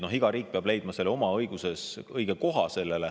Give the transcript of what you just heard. Nii et iga riik peab leidma oma seadustes sellele õige koha.